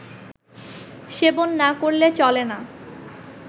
সেবন না করলে চলে না